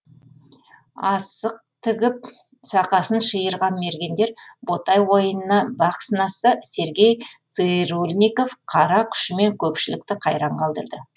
асық тігіп сақасын шиырған мергендер ботай ойынына бақ сынасса сергей цырульников қара күшімен көпшілікті қайран қалдырды